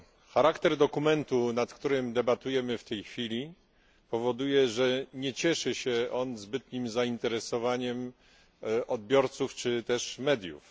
Charakter dokumentu, nad którym debatujemy w tej chwili, powoduje, że nie cieszy się on zbytnim zainteresowaniem odbiorców czy też mediów.